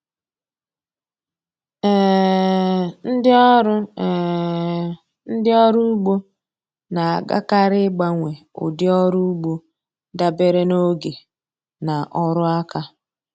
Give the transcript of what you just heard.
um Ndị ọrụ um Ndị ọrụ ugbo na-agakarị ịgbanwe ụdị ọrụ ugbo dabere na oge na ọrụ aka.